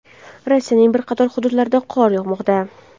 Rossiyaning bir qator hududlarida qor yog‘moqda.